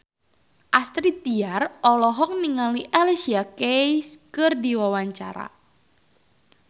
Astrid Tiar olohok ningali Alicia Keys keur diwawancara